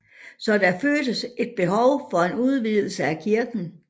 Så der føltes et behov for en udvidelse af kirken